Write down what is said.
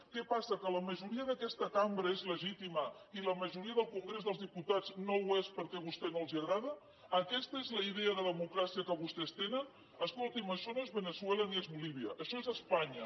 què passa que la majoria d’aquesta cambra és legítima i la majoria del congrés dels diputats no ho és perquè a vostès no els agrada aquesta és la idea de democràcia que vostès tenen escolti’m això no és veneçuela ni és bolívia això és espanya